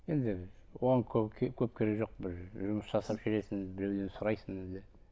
енді оған көп керек жоқ бір жұмыс жасап жүресің біреуден сұрайсың енді